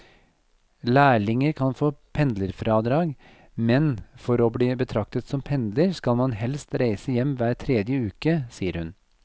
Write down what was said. Lærlinger kan få pendlerfradrag, men for å bli betraktet som pendler skal man helst reise hjem hver tredje uke, sier hun.